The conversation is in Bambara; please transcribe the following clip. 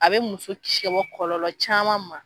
A be muso kisi ka bɔ kɔlɔlɔ caman ma